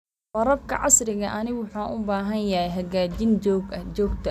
Waraabka casriga ahi wuxuu u baahan yahay hagaajin joogto ah.